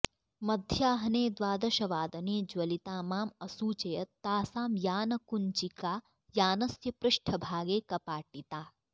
मध्याह्ने द्वादशवादने ज्वलिता मां असूचयत् तासां यानकुञ्चिका यानस्य पृष्ठभागे कपाटिता